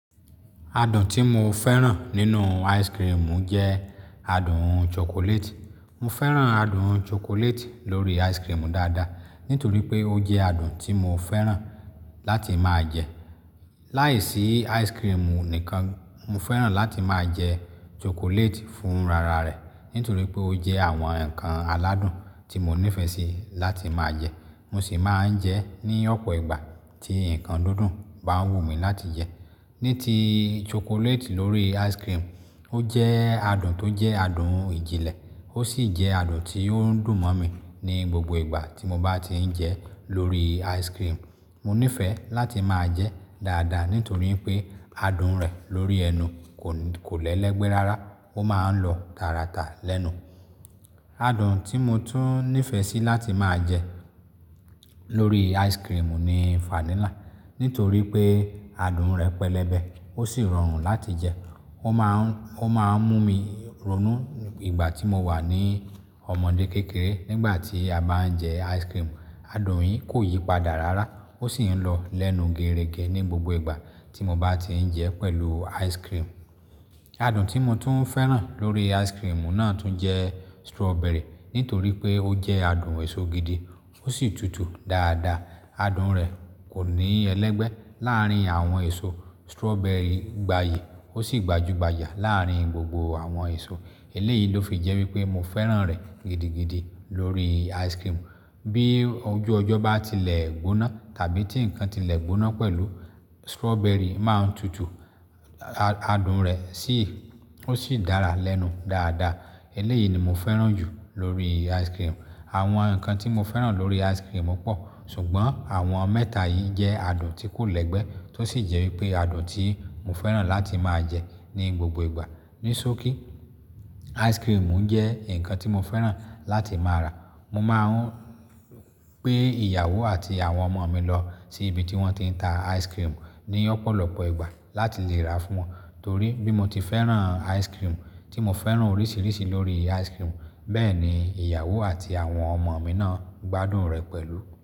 Adùn tí mo fẹ́ràn nínú ice cream jẹ́ adùn chocolate. Mo fẹ́ràn adùn chocolate lórí ice cream dáadáa nítorí pé ó jẹ́ adùn tí mo fẹ́ràn láti máa jẹ. Láìsí ice cream nìkan, mo fẹ́ràn láti máa jẹ chocolate fún rara rẹ̀ nítorí pé ó jẹ́ àwọn ǹkan aládùn tí mo nífẹ̀ẹ́ sí láti máa jẹ. Mo sì máa ń jẹ ẹ́ ní ọ̀pọ̀ ìgbà tí ǹkan dúndún bá wù mí láti jẹ. Ní ti chocolate lórí ice cream, ó jẹ́ adùn tó jẹ́ adùn ìjìnlẹ̀. Ó sì jẹ́ adùn tí ó ń dùn mọ́ mi ní gbogbo ìgbà tí mo bá ti ń jẹ lórí ice cream. Mo nífẹ̀ẹ́ láti máa jẹ dáadáa nítorí pé adùn rẹ̀ lórí ẹnu kò, kò lẹ́lẹ́gbẹ́ rárá. Ó máa ń lọ tàràtà lẹ́nu. Adùn tí mo tún nífẹ̀ẹ́ sí láti máa jẹ lórí ice cream ni vanilla. Nítorí pé adùn rẹ̀ pẹlẹbẹ. Ó sì rọrùn láti jẹ. Ó máa ń, ó máa ń mú mi ronú ìgbà tí mo wà ní ọmọdé kékeré nígbà tí a bá ń jẹ ice cream. Adùn yìí kò yípadà rárá. Ó sì ń lọ lẹ́nu gerége ní gbogbo ìgbà tí mo bá ti ń jẹ pẹ̀lú ice cream. Adùn tí mo tún fẹ́ràn lórí ice cream náà tún jẹ́ strawberry. Nítorí pé ó jẹ́ adùn èso gidi ó sì tùtù dáadáa. Adùn rẹ̀ kò ní ẹlẹ́gbẹ́ láàárín àwọn èso. Strawberry gbayì, ó sì gbajúgbajà láàárín gbogbo àwọn èso. Eléyìí ló fi jẹ́ wípé mo fẹ́ràn rẹ̀ gidigidi lórí ice cream. Bí ojú ọjọ́ bá tilẹ̀ gbóná tàbí tí ǹkan tilẹ̀ gbóná pẹ̀lú strawberry máa ń tùtù. Adùn rẹ̀ sì, ó sì dára lẹ́nu dáadáa. Eléyìí ni mo fẹ́ràn jù lórí ice cream. Àwọn ǹkan tí mo fẹ́ràn lórí ice cream pọ̀. Ṣùgbọ́n àwọn mẹ́ta yìí jẹ́ adùn tí kò lẹ́gbẹ́ tó sì jẹ́ wípé adùn tí mo fẹ́ràn láti máa jẹ ní gbogbo ìgbà. Nisoki, ice cream jẹ́ ǹkan tí mo fẹ́ràn láti máa rà. Mo máa ń gbé ìyàwó àti àwọn ọmọ mi lọ sí ibi tí wọ́n ti ń ta ice cream ní ọ̀pọ̀lọpọ̀ ìgbà láti lè rà fún wọn. Torí bí mo ti fẹ́ràn ice cream, tí mo fẹ́ràn oríṣiríṣi lórí ice cream bẹ́ẹ̀ ni ìyàwó àti àwọn ọmọ mi náà gbádùn rẹ̀ pẹ̀lú.